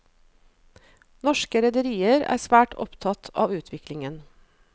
Norske rederier er svært opptatt av utviklingen.